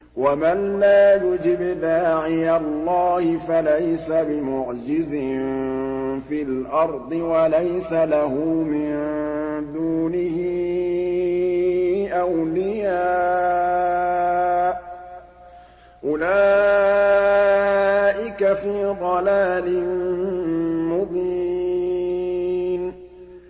وَمَن لَّا يُجِبْ دَاعِيَ اللَّهِ فَلَيْسَ بِمُعْجِزٍ فِي الْأَرْضِ وَلَيْسَ لَهُ مِن دُونِهِ أَوْلِيَاءُ ۚ أُولَٰئِكَ فِي ضَلَالٍ مُّبِينٍ